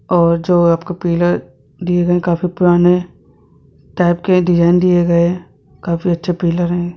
और जो आपको पिलर दिए हे काफी पुराने टाइप के डिजाइन दिए गए हैं काफी अच्छे पिलर है।